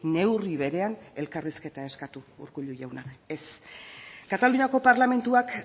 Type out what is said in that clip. neurri berean elkarrizketa eskatu urkullu jauna ez kataluniako parlamentuak